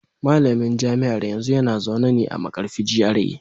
Malamin jami'ar yanzu yana zaune a Markarfi GRA